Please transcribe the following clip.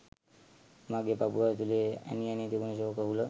මගේ පපුව ඇතුලේ ඇනි ඇනී තිබුණ ශෝක හුල